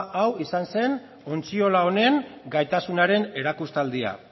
hau izan zen ontziola honen gaitasunaren erakustaldia